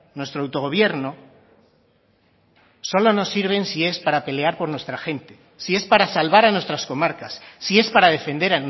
nuestro autogobierno solo nos sirve si es para pelear por nuestra gente si es para salvar nuestras comarcas si es para defender